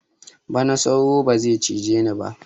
Bana sauro ba zai cije ni ba